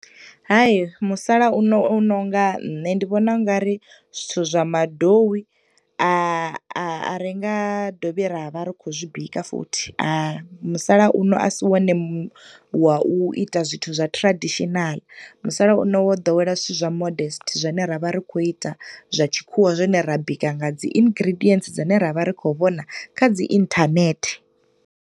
Hai, musalauno u nonga nṋe ndi vhona ungari zwithu zwa madowi a a ringa dovhi ra vha ri khou zwi bika futhi, musalauno a si wone wa u ita zwithu zwa traditional. Musalauno wo ḓowela zwithu zwa modest zwane ra vha ri khou ita zwa tshikhuwa zwine ra bika nga dzi ingridients dzi ne ra vha ri khou vhona kha dzi internet.